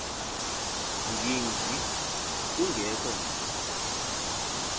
ngingqi kungekho nto